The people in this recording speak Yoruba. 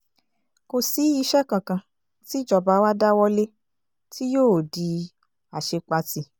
kò sí iṣẹ́ kankan tíjọba wa dáwọ́ lé tí yóò di àṣepatì